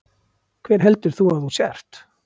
Hver heldur þú að þú sért?